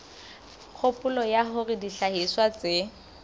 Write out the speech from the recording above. kgopolo ya hore dihlahiswa tse